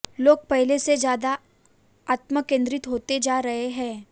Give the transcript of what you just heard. लोग पहले से ज्यादा आत्मकेन्द्रित होते जा रहे हैं